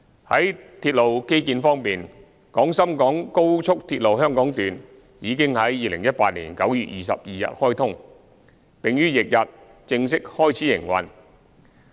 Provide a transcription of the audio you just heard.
在鐵路基建方面，廣深港高速鐵路香港段已於2018年9月22日開通，並於翌日正式開始營運。